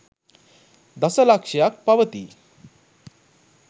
දස ලක්ෂයක් පවතියි.